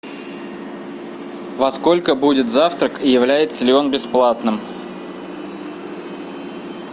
во сколько будет завтрак и является ли он бесплатным